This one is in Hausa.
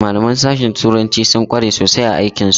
Malaman sashe turanci sun kware sosai a aikin su.